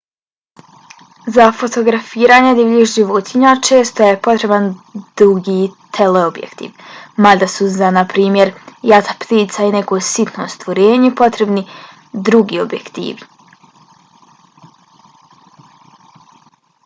za fotografiranje divljih životinja često je potreban dugi teleobjektiv mada su za na primjer jata ptica ili neko sitno stvorenje potrebni drugi objektivi